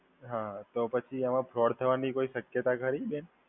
હ તો પછી આમાં ફ્રોડ થવાની કોઈ શક્યતા ખરી બેન?